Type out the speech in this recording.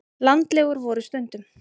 Landlegur voru stundum.